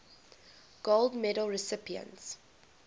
gold medal recipients